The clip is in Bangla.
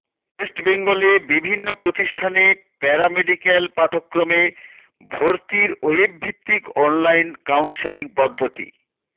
ওয়েস্ট বেঙ্গলে বিভিন্ন প্রতিষ্ঠানে প্যারা মেডিক্যাল পাঠক্রমে ভর্তির ওয়েব ভিত্তিক অনলাইন কাউন্সেলিং পদ্ধতি